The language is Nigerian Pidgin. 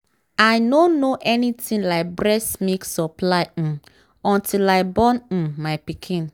i nor know anything like breast milk supply um until i born um my pikin